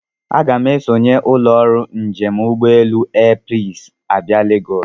Aga m esonye ụlọ ọrụ njem ụgbọelu Airpeace abịa Legosi.